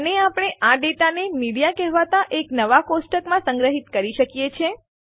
અને આપણે આ ડેટાને મીડિયા કહેવાતા એક નવા ટેબલમાં સંગ્રહિત કરી શકીએ છીએ